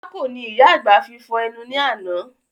Pákò ni ìyá àgbà fi fọ̀ ẹnu ni àná